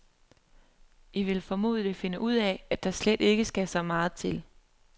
I vil formodentlig finde ud af, at der slet ikke skal så meget til.